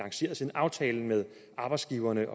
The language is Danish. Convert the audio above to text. aftalen med arbejdsgiverne